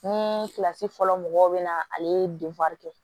Ni kilasi fɔlɔ mɔgɔw bɛ na ale ye kɛ